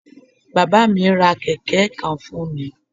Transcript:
Bábá à mí ra kèké kan fún mi